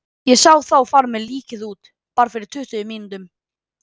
Ég sá þá fara með líkið út, bara fyrir tuttugu mínútum.